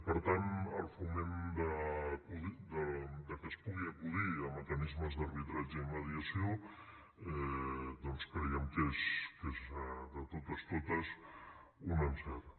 per tant el foment perquè es pugui acudir a mecanismes d’arbitratge i mediació creiem que és de totes totes un encert